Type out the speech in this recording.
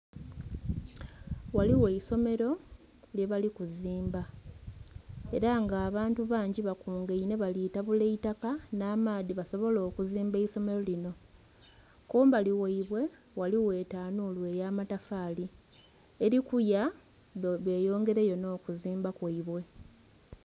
Ghaligho esomelo lyebali kuzimba era nga bantu bangi bakunganhe bali tabula itaka nhamaadhi basobole okuzimba eisomelo linho. Kumbali gheibwe ghaligho etanhulu eya amatafali eli kuya nga bwebeyongera yo nhokuzimba kwebwe.